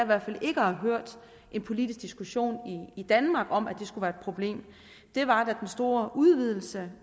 hvert fald ikke at have hørt en politisk diskussion i danmark om at det skulle være et problem var da den store udvidelse